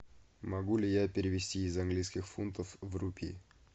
могу ли я перевести из английских фунтов в рупий